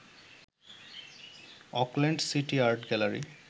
Auckland City Art gallery